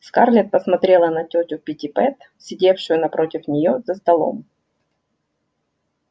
скарлетт посмотрела на тётю питтипэт сидевшую напротив неё за столом